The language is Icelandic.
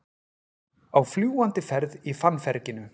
Á fljúgandi ferð í fannferginu